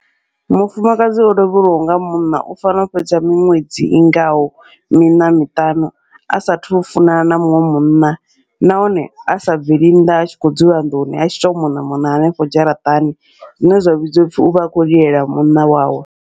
Mufumakadzi o lovhelwaho nga munna u fanela u fhedza miṅwedzi i ngaho miṋa miṱanu a sathu funana na muṅwe munna, nahone a sa bveli nnḓa a tshi khou dzula nḓuni a tshi to mona mona hanefho dzharaṱani, zwine zwa vhidziwa upfhi uvha a khou lilela munna wawe.